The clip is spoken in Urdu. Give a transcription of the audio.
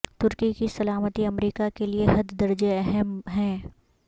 ترکی کی سلامتی امریکہ کے لیے حد درجے اہم ہیں